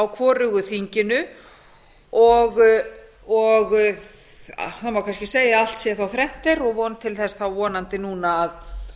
hvorugu þinginu og það má kannski segja að allt sé þá þrennt er og von til þess þá vonandi núna